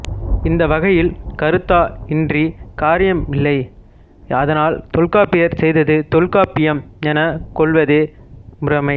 இந்த வகையில் கருத்தா இன்றி காரியமில்லை அதனால் தொல்காப்பியர் செய்தது தொல்காப்பியம் எனக் கொள்வதே முறைமை